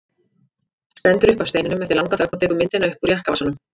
Stendur upp af steininum eftir langa þögn og tekur myndina upp úr jakkavasanum.